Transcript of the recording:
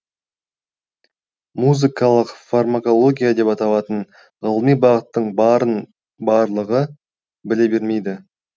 музыкалық фармакология деп аталатын ғылыми бағыттың барын барлығы біле бермейді